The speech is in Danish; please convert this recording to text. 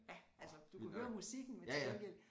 Ja altså du kunne høre musikken men til gengæld